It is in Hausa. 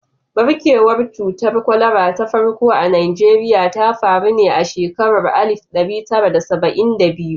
Ɓarkewar cutar kwalara ta farko a Najeriya ta faru ne a shekarar alif ɗari tara da saba'in da biyu.